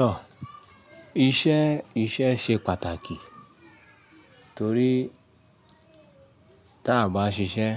Tọ, iṣẹ́, iṣẹ́ ṣe pàtàkì torí tí a bá ṣiṣẹ́